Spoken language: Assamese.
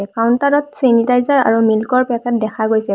কাউন্টাৰ ত চেনিটাইজাৰ আৰু মিল্ক ৰ পেকেট দেখা গৈছে।